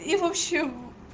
и вообще в